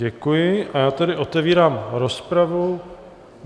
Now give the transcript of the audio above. Děkuji, a já tedy otevírám rozpravu.